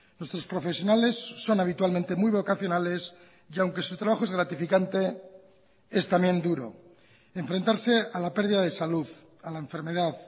nuestros profesionales son habitualmente muy vocacionales y aunque su trabajo es gratificante es también duro enfrentarse a la pérdida de salud a la enfermedad